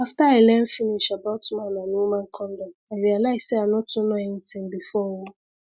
after i learn finish about man and woman condom i realize say i no too know anything before o